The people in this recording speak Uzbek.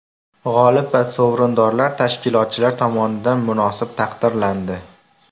G‘olib va sovrindorlar tashkilotchilar tomonidan munosib taqdirlandi.